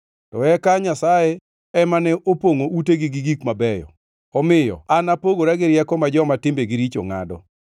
To eka Nyasaye ema ne opongʼo utegi gi gik mabeyo, omiyo an apogora gi rieko ma joma timbegi richo ngʼado.